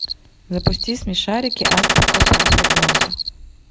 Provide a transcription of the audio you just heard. запусти смешарики азбука прав ребенка